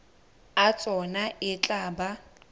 a tsona e tla ba